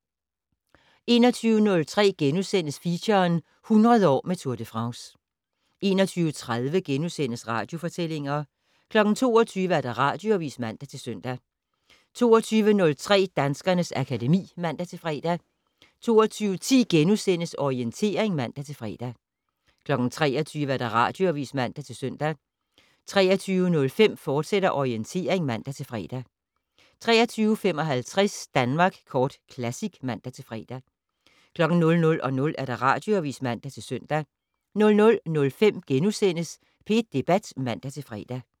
21:03: Feature - 100 år med Tour de France * 21:30: Radiofortællinger * 22:00: Radioavis (man-søn) 22:03: Danskernes akademi (man-fre) 22:10: Orientering *(man-fre) 23:00: Radioavis (man-søn) 23:05: Orientering, fortsat (man-fre) 23:55: Danmark Kort Classic (man-fre) 00:00: Radioavis (man-søn) 00:05: P1 Debat *(man-fre)